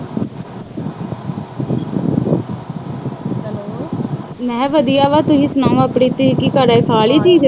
ਮੈਂ ਕਿਹਾ ਵਧੀਆ ਤੁਸੀਂ ਸੁਣਾਓ